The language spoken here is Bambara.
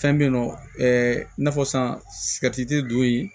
Fɛn bɛ yen nɔ i n'a fɔ sisan don ye